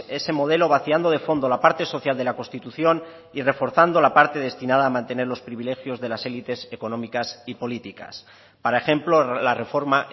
ese modelo vaciando de fondo la parte social de la constitución y reforzando la parte destinada a mantener los privilegios de las élites económicas y políticas para ejemplo la reforma